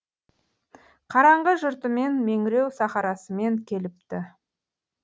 қараңғы жұртымен меңіреу сахарасымен келіпті